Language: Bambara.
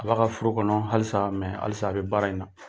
A b'a ka foro kɔnɔ halisa halisa a be baara in na.